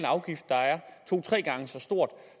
afgift der er to tre gange så stor